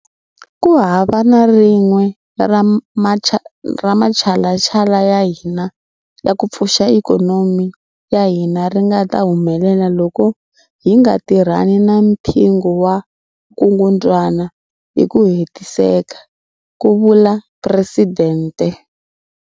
Ku hava na rin'we ra matshalatshala ya hina ya ku pfuxa ikhonomi ya hina ri nga ta humelela loko hi nga tirhani na mpingu wa vukungundwana hi ku hetiseka, ku vula Presidente.